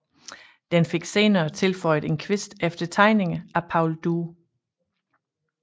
Den fik senere tilføjet en kvist efter tegninger af Paul Due